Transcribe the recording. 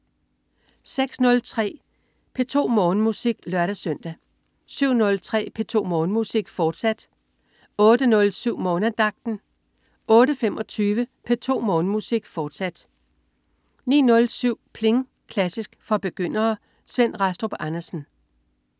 06.03 P2 Morgenmusik (lør-søn) 07.03 P2 Morgenmusik, fortsat (lør-søn) 08.07 Morgenandagten 08.25 P2 Morgenmusik, fortsat 09.07 Pling! Klassisk for begyndere. Svend Rastrup Andersen